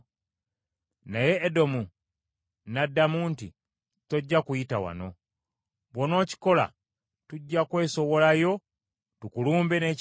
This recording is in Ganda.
Naye Edomu n’addamu nti, “Tojja kuyita wano, bw’onookikola tujja kwesowolayo tukulumbe n’ekitala.”